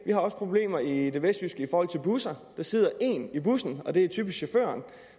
har også problemer i det vestjyske i forhold til busser der sidder én i bussen og det er typisk chaufføren